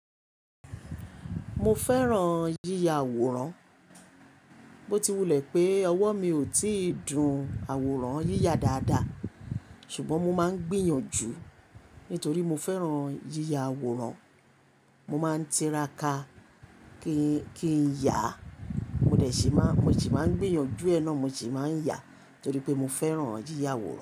Mo fẹ́ràn yíya àwòrán. Ó ti wulẹ̀ pé ọwọ́ mi ò tíì dun àwòrán yíya dáadáa, ṣùgbọ́n mo máa ń gbìyànjú nítorí mo fẹ́ràn yíya àwòrán. Mo máa ń tíràkà kí n yá, mo sì máa ń gbìyànjú ẹ̀ náà, mo sì máa ń yá torí pé mo fẹ́ràn yíya àwòrán.